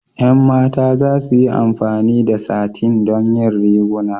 Ƴan mata za su yi amfani da satin don yin riguna.